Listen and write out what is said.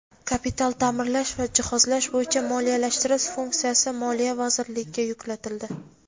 kapital taʼmirlash va jihozlash bo‘yicha moliyalashtirish funksiyasi Moliya vazirligiga yuklatildi.